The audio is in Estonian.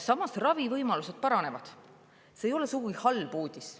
Samas ravivõimalused paranevad, nii et see ei ole sugugi halb uudis.